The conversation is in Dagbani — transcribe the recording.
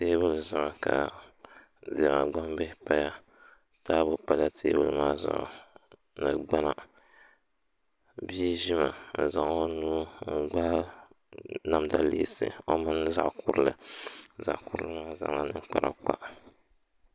teebuli zuɣu ka diɛma gbambihi paya taabu pala teebuli maa zuɣu ni gbana bia ʒimi n-zaŋ o nuu n-gbaagi namda leesi o mini zaɣ' kurili zaɣ' kurili maa zaŋla ninkpara kpa